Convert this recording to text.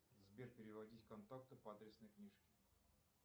сбер переводить контакты по адресной книжке